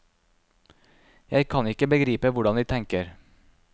Jeg kan ikke begripe hvordan de tenker.